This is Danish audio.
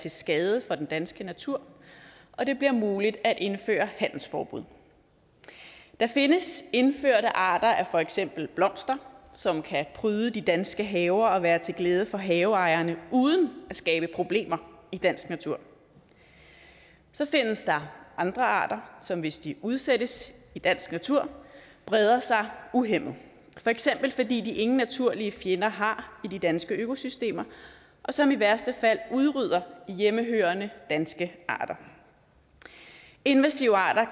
til skade for den danske natur og det bliver muligt at indføre handelsforbud der findes indførte arter af for eksempel blomster som kan pryde de danske haver og være til glæde for haveejerne uden at skabe problemer i dansk natur så findes der andre arter som hvis de udsættes i dansk natur breder sig uhæmmet for eksempel fordi de ingen naturlige fjender har i de danske økosystemer og som i værste fald udrydder hjemmehørende danske arter invasive arter